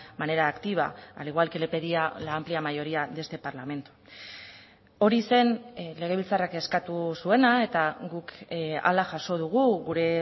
manera activa al igual que le pedía la amplia mayoría de este parlamento hori zen legebiltzarrak eskatu zuena eta guk hala jaso dugu gure